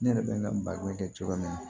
Ne yɛrɛ bɛ n ka baro kɛ cogoya min na